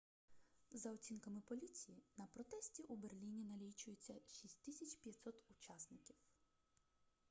за оцінками поліції на протесті у берліні налічується 6500 учасників